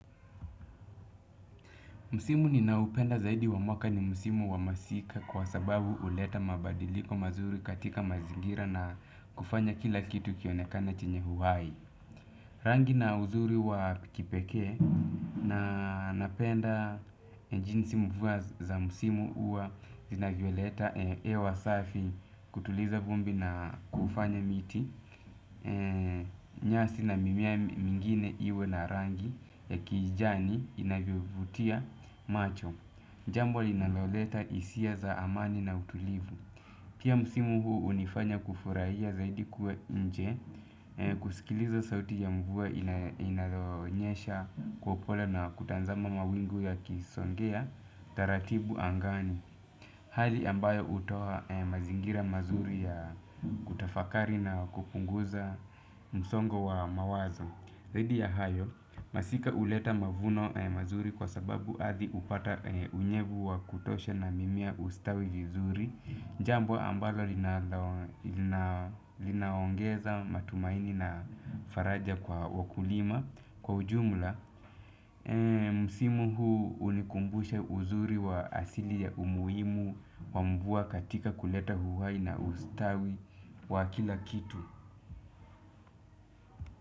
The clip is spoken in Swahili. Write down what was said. Msimu ninaopenda zaidi wa mwaka ni msimu wa masika kwa sababu uleta mabadiliko mazuri katika mazingira na kufanya kila kitu kionekane chenye uhai. Rangi na uzuri wa kipekee na napenda jinsi mvua za musimu uwa zinavyo leta ewa safi kutuliza vumbi na kufanya miti nyasi na mimea mingine iwe na rangi ya kijani inavyo vutia macho. Jambo linaloleta isia za amani na utulivu. Pia musimu huu unifanya kufurahia zaidi kuwa inje kusikiliza sauti ya mvua inayonyesha kwa ubora na kutanzama mawingu ya kisongea taratibu angani. Hali ambayo utoa mazingira mazuri ya kutafakari na kupunguza msongo wa mawazo. Zaidi ya hayo masika uleta mavuno mazuri kwa sababu adhi upata unyevu wa kutosha na mimea ustawi vizuri. Jambo ambalo linaongeza matumaini na faraja kwa wakulima kwa ujumla. Msimu huu unikumbusha uzuri wa asili ya umuimu wa mvua katika kuleta uhai na ustawi wa kila kitu.